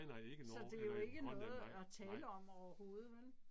Så det er jo ikke noget at tale om overhovedet vel